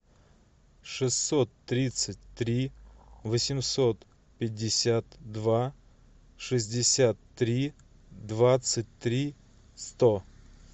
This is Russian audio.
шестьсот тридцать три восемьсот пятьдесят два шестьдесят три двадцать три сто